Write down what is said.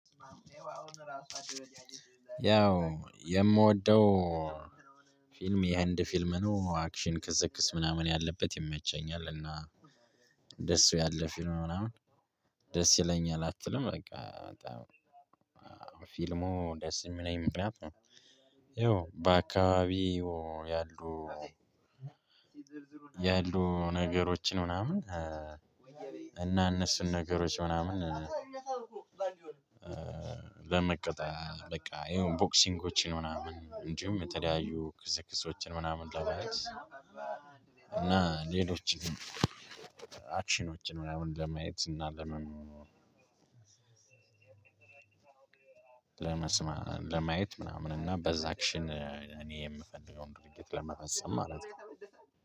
ያው የምወደው ፊልም የህንድ ፊልም ነው አክሽን ክስክስ ምናምን ያለበት ይመቸኛል። ደስ ያለ ፊልም ምናምን ደስ ይለኛል አትልም በቃ በጣም ፊልሙ ደስ የሚለኝ ምክንያት ነው። ይኸው በአካባቢ ይኸው ያሉ ያሉ ነገሮችን ምናምን እና እነሱን ነገሮች ምናምን በመቀጣያ በቃ የሆነ ቦክሲንጎችን ምናምን እንዲሁም የተለያዩ ክስክሶችን ምናምን ለማየት እና ሌሎችን አክሽኖችን ምናምን ለማየት እና ለመኟኗር። ለማየት ምናምን እና በዛችን እኔ የምፈልገውን ድርግት ለመፈጸም ማለት ነው።